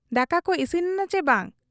ᱫᱟᱠᱟᱠᱚ ᱤᱥᱤᱱᱮᱱᱟ ᱪᱤ ᱵᱟᱝ ?